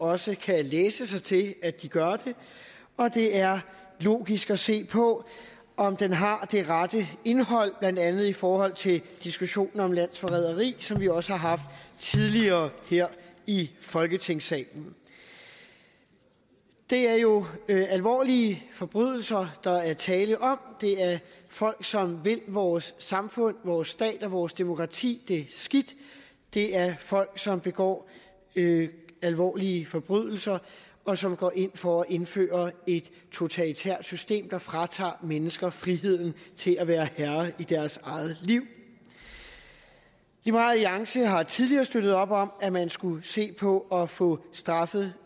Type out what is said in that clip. også kan læse sig til at de gør det og det er logisk at se på om den har det rette indhold blandt andet i forhold til diskussionen om landsforræderi som vi også har haft tidligere her i folketingssalen det er jo alvorlige forbrydelser der er tale om det er folk som vil vores samfund vores stat og vores demokrati det skidt det er folk som begår alvorlige forbrydelser og som går ind for at indføre et totalitært system der fratager mennesker friheden til at være herre i deres eget liv liberal alliance har tidligere støttet op om at man skulle se på at få straffet